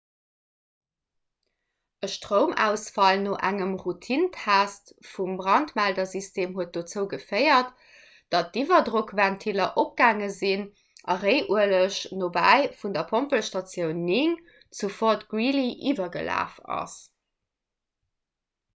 e stroumausfall no engem routinentest vum brandmeldersystem huet dozou geféiert datt d'iwwerdrockventiller opgaange sinn a réiueleg nobäi vun der pompelstatioun 9 vu fort greely iwwergelaf ass